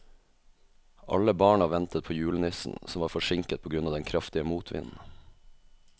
Alle barna ventet på julenissen, som var forsinket på grunn av den kraftige motvinden.